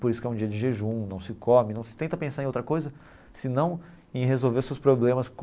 Por isso que é um dia de jejum, não se come, não se tenta pensar em outra coisa, senão em resolver seus problemas com.